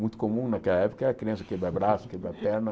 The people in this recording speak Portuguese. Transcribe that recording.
Muito comum naquela época era criança quebrar braço, quebrar perna.